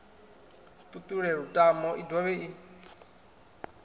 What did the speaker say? ṱuṱule lutamo i dovhe i